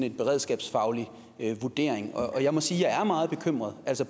en beredskabsfaglig vurdering og jeg må sige at jeg er meget bekymret